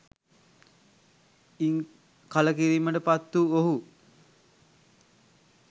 ඉන් කල කිරීමට පත් වූ ඔහු